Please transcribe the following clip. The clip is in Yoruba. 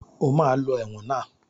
O ma lọ ẹ̀wọ̀n náà!